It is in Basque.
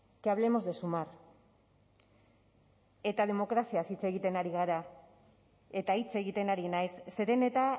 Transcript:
que hablemos de sumar eta demokraziaz hitz egiten ari gara eta hitz egiten ari naiz zeren eta